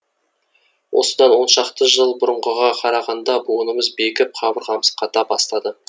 осыдан оншақты жыл бұрынғыға қарағанда буынымыз бекіп қабырғамыз қата бастады